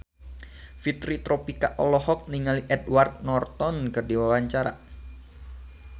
Fitri Tropika olohok ningali Edward Norton keur diwawancara